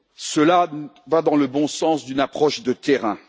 Cela va dans le bon sens d'une approche de terrain.